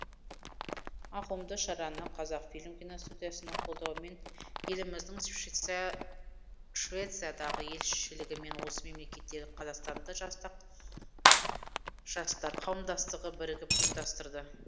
ауқымды шараны қазақфильм киностудиясының қолдауымен еліміздің швециядағы елшілігі мен осы мемлекеттегі қазақстандық жастар қауымдастығы бірігіп ұйымдастырды